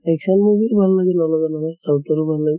action movie ও ভাল লাগে, নলগা নহয় south ৰ ভালে।